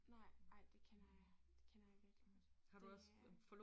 Nej ej det kender jeg det kender jeg virkelig godt det er